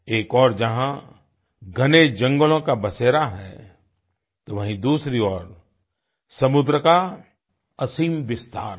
एक ओर जहाँ घने जंगलों का बसेरा है तो वहीँ दूसरी ओर समुद्र का असीम विस्तार है